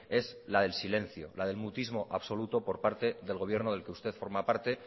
es la del silencio la del mutismo absoluto por parte del gobierno del que usted forma parte